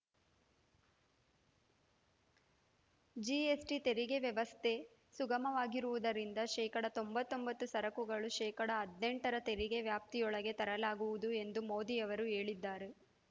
GST ತೆರಿಗೆ ವ್ಯವಸ್ಥೆ ಸುಗಮವಾಗಿರುವುದರಿಂದ ಶೇಕಡಾ ತೊಂಬತ್ತೊಂಬತ್ತು ಸರಕುಗಳನ್ನು ಶೇಕಡಾ ಹದಿನೆಂಟರ ತೆರಿಗೆ ವ್ಯಾಪ್ತಿಯೊಳಗೆ ತರಲಾಗುವುದು ಎಂದು ಮೋದಿ ಅವರು ಹೇಳಿದ್ದರು